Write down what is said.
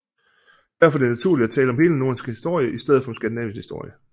Derfor er det naturligt at tale om hele Nordens historie i stedet for Skandinaviens historie